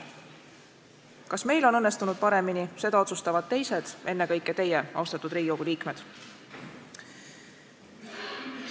Kas meil on õnnestunud paremini, seda otsustavad teised, ennekõike teie, austatud Riigikogu liikmed.